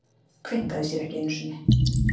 Kveinkaði sér ekki einu sinni.